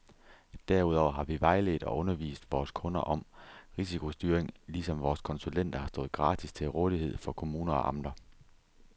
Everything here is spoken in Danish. Derudover har vi vejledt og undervist vores kunder om risikostyring, ligesom vores konsulenter har stået gratis til rådighed for kommuner og amter.